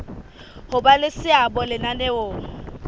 ho ba le seabo lenaneong